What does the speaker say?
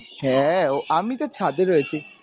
হ্যাঁ, ও আমি তো ছাদ এ রয়েছি।